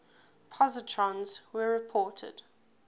positrons were reported